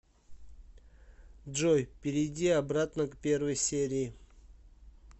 джой перейди обратно к первой серии